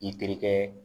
I terikɛ